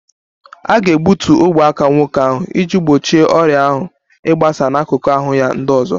A ga-egbutu ogwe aka nwoke ahụ iji gbochie ọrịa ahụ ịgbasa n'akụkụ ahụ ya ndị ọzọ